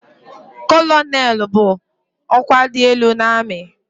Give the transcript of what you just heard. Kọlọnelụ bụ ọkwa dị elu n'amị.